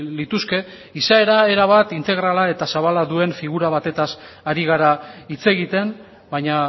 lituzke izaera erabat integrala eta zabala duen figura batez ari gara hitz egiten baina